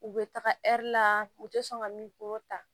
U bɛ taga la u tɛ sɔn ka min kulo ta